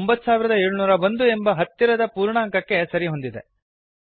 9701 ಎಂಬ ಹತ್ತಿರದ ಪೂರ್ಣಾಂಕಕ್ಕೆ ಸರಿಹೊಂದಿದೆ